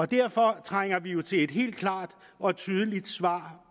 derfor trænger vi jo til et helt klart og tydeligt svar